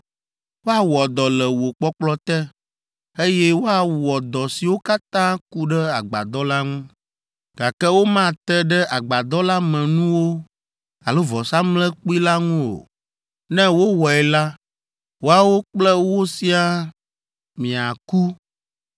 Woawɔ dɔ le wò kpɔkplɔ te, eye woawɔ dɔ siwo katã ku ɖe agbadɔ la ŋu, gake womate ɖe agbadɔ la me nuwo alo vɔsamlekpui la ŋu o, ne wowɔe la, woawo kple wò siaa miaku.